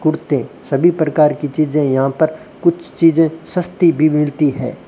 कुर्ते सभी प्रकार की चीजें यहां पर कुछ चीजें सस्ती भी मिलती है।